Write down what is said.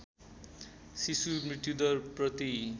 शिशु मृत्युदर प्रति